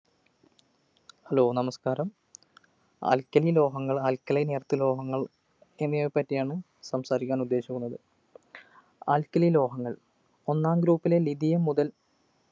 hello നമസ്ക്കാരം alkali ലോഹങ്ങൾ alkalineearth ലോഹങ്ങൾ എന്നിവയെപ്പറ്റിയാണ് സംസാരിക്കാൻ ഉദ്ദേശിക്കുന്നത് alkali ലോഹങ്ങൾ ഒന്നാം group ലെ lithium മുതൽ